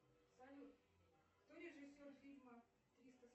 салют кто режиссер фильма триста